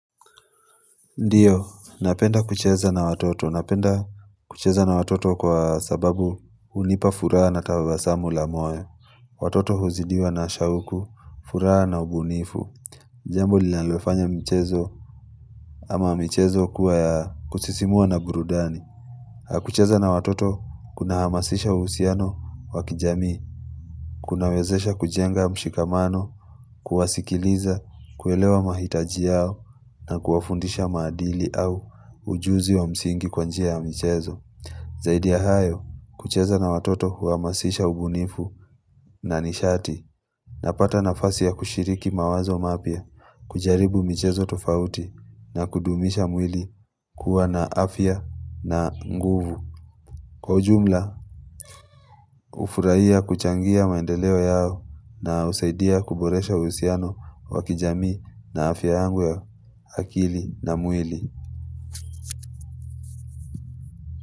Ndiyo, napenda kucheza na watoto. Napenda kucheza na watoto kwa sababu hunipa fura na tabasamu la moyo. Watoto huzidiwa na shauku, fura na ubunifu. Jambo lilanalofanya mchezo ama michezo kuwa ya kusisimua na burudani. Kucheza na watoto kuna hamasisha uhusiano wakijamii. Kunawezesha kujenga mshikamano, kuwasikiliza, kuelewa mahitaji yao, na kuwafundisha maadili au ujuzi wa msingi kwanjia ya mchezo. Zaidi ya hayo, kucheza na watoto wa huwamasisha ubunifu na nishati na pata nafasi ya kushiriki mawazo mapya, kujaribu mchezo tofauti na kudumisha mwili kuwa na afya na nguvu. Kwa ujumla, hufuraia kuchangia maendeleo yao na usaidia kuboresha usiano wakijami na afya yangu akili na mwili.